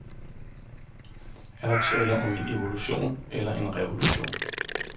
Er der tale om en evolution eller en revolution.